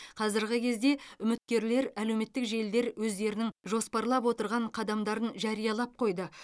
қазіргі кезде үміткерлер әлеуметтік желілер өздерінің жоспарлап отырған қадамдарын жариялап қойды